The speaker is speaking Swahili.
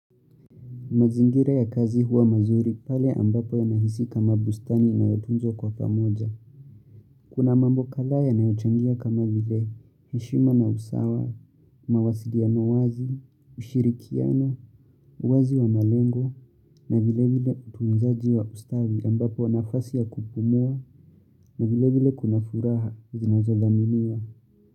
Mazingira ya kazi huwa mazuri pale ambapo yanahisi kama bustani inayotunzwa kwa pamoja. Kuna mambo kadhaa yanayochangia kama vile heshima na usawa, mawasiliano wazi, ushirikiano, uwazi wa malengo na vile vile utunzaji wa ustawi ambapo nafasi ya kupumua na vile vile kuna furaha.